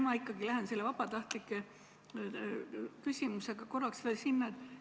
Ma ikkagi lähen selle vabatahtlike küsimuse juurde korraks veel tagasi.